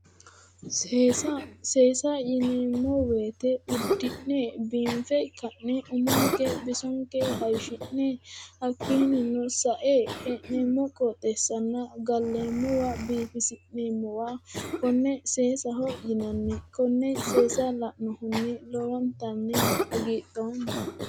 Seesa, seesa yineemmo woyite uddi'ne biinfe ka'ne umonke bisonke haayiishi'ne hakkiinnino sae hee'neemmo qooxeessanna galleemmowa biifisi'nemmowa konne seesaho yinanni konne seesa la'nohunni lowontanni hagiidhoomma.